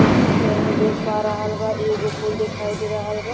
जइसन के आदमी देख पा रहल बा। एगो फूल दिखाई दे रहल बा।